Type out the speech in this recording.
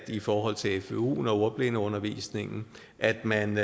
i forhold til fvu og ordblindeundervisningen at man